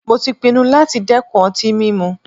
Mó tí pinnu láti dẹ́kun ọtí mímu.